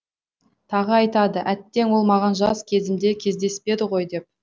тағы айтады әттең ол маған жас кезімде кездеспеді ғой деп